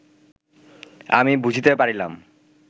আমি বুঝিতে পারিলাম